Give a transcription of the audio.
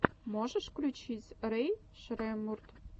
можешь включить рэй шреммурд